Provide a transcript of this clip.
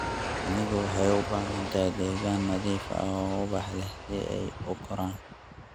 Shinnidu waxay u baahan tahay deegaan nadiif ah oo ubax leh si ay u koraan.